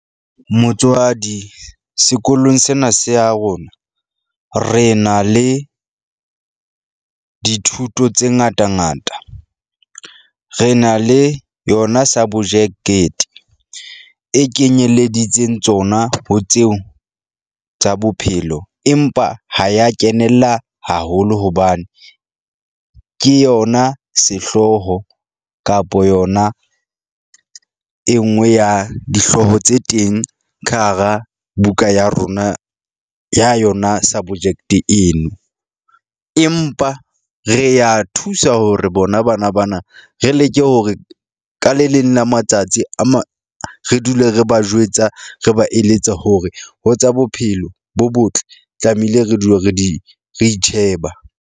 Motswadi sekolong sena se ya rona re na le dithuto tse ngata ngata. Re na le yona sabojekete e kenyeleditseng tsona, ho tseo tsa bophelo. Empa ha ya kenella haholo hobane ke yona sehlooho kapa yona e nngwe ya dihlooho tse teng ka hara buka ya rona ya yona subject-e eno. Empa re ya thusa hore bona bana bana, re leke hore ka le leng la matsatsi a mang re dule re ba jwetsa, re ba eletsa hore ho tsa bophelo bo botle tlamehile re dule re di re itjheba.